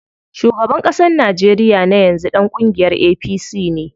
Shugaban ƙasar Najeriya na yanzu ɗan kungiyar APC ne.